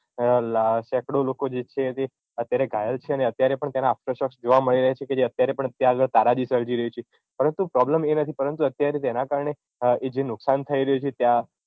સેકડો લોકો જે છે તે અત્યારે ઘાયલ છે અને અત્યારે પણ તેનાં જોવાં મળી રહ્યાં છે કે જે અત્યારે પણ ત્યાં આગળ તારાજી સર્જી રહ્યું છે પરંતુ problem એ નથી પરંતુ અત્યારે જેનાં કારણે જે નુકશાન થઇ રહ્યું છે ત્યાં